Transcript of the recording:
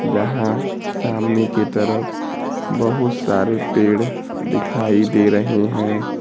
जहां सामने के तरफ बहुत सारे पेड़ दिखाई दे रहीं हैं।